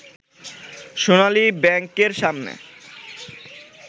সোনালী ব্যাংকের সামনে